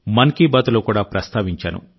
మన్ కి బాత్ లో కూడా ప్రస్తావించాను